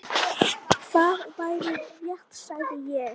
Það væri rétt, sagði ég.